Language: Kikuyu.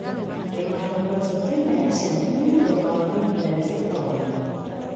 Hemangiopericytoma ya ciana nĩ mũthemba wa Myopericytoma.